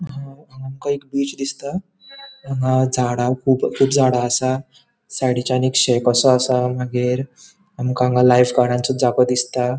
अ हांगा आमका एक बीच दिसता हांगा झाडा कुब कुब झाडा असा साइडीच्यान एक कसो असा मागिर आमका हांगा लाइफ्गार्डसो जागो दिसता.